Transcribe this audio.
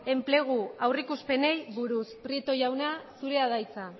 enplegu aurreikuspenei buruz prieto jauna zure da hitza